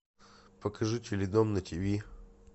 покажи теледом на тв